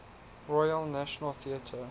royal national theatre